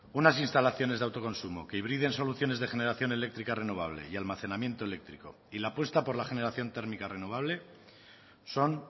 unas instalaciones de autoconsumo que hibriden soluciones de generación eléctrica renovable y almacenamiento eléctrico y la apuesta por la generación térmica renovable son